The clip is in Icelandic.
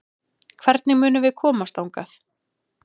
Hvernig munum við komast þangað?